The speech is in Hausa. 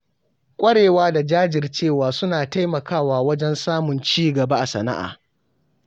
Ƙwarewa da jajircewa suna taimakawa wajen samun cigaba a sana’a.